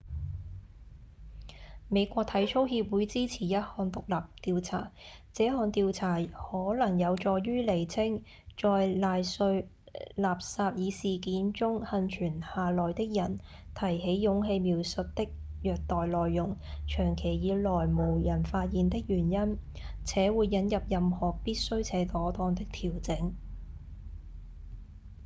美國體操協會支持一項獨立調查這項調查可能有助於釐清在賴瑞·納薩爾事件中倖存下來的人提起勇氣描述的虐待內容長期以來無人發現的原因且會引入任何必需且妥當的調整